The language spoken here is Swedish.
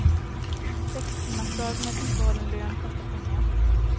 Sextimmarsdag med bibehållen lön kostar pengar.